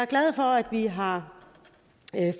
glad for at vi har